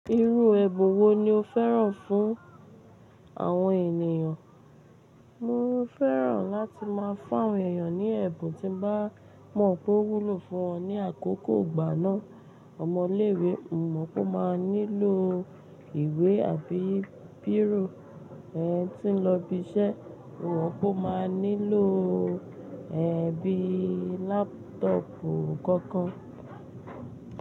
Irú ẹbùn wo ni o fẹ́ràn fún àwọn ènìyàn? Mo fẹ́ràn láti máa fún àwọn ènìyàn ní ẹ̀bùn tí mo bá mọ̀ pé ó wúlò fún wọn ní àkókò ìgbàná. Ọmọ ilé ìwé, mo mọ̀ pé ó máa nílò ìwé àbí bírò, ẹni tí ń lọ ibi iṣẹ́, mo mọ̀ pé ó máa nílò ẹ́ bíi lápútọ̀pù kọ̀ọ̀kan.